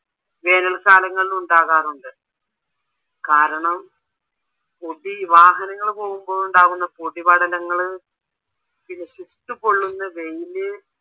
വേനൽ കാലങ്ങളില് ഉണ്ടാകാറുണ്ട് കാരണം പൊടി വാഹനങ്ങൾ പോകുമ്പോൾ ഉണ്ടാവുന്ന പൊടിപടലങ്ങള് പിന്നെ ചുട്ടു പൊള്ളുന്ന വെയില്